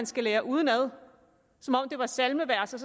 skal lære udenad som om det var salmevers og